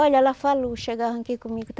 Olha, ela falou, chegava aqui comigo.